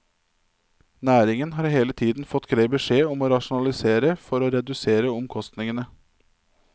Næringen har hele tiden fått grei beskjed om å rasjonalisere for å redusere omkostningene.